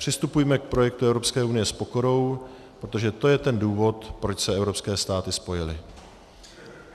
Přistupujme k projektu Evropské unie s pokorou, protože to je ten důvod, proč se evropské státy spojily.